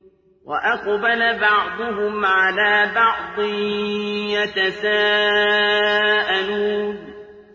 وَأَقْبَلَ بَعْضُهُمْ عَلَىٰ بَعْضٍ يَتَسَاءَلُونَ